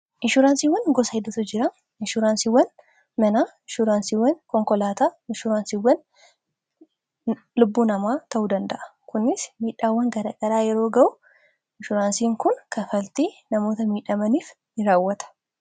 inshuraansiiwwan gosa hidutu jira inshuuraansiiwwan manaa inshuuraansiiwwan konkolaataa inshuuraansiiwwan lubbuu namaa ta'uu danda'a kunis miidhaawwan gadaqaraa yeroo ga'u inshuuraansiin kun kafaltii namoota miidhamaniif ni raawwata